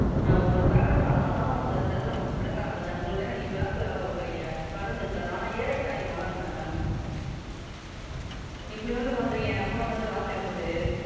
ஆ உங்களுக்கு கடன் இல்லை அதனால தான் உங்களுக்கு அது தெரியலை Ma'am கடன்காரன் பிரச்சனை உங்களுக்கு என்ன நீங்க Bank ல வேலை பாக்குறீங்க கடன் இருக்காது. நான் எல்லாம் அதான் Ma'am இப்படி வந்து பண்றீங்க என் Account ல இருந்து காசு எடுத்துட்டு,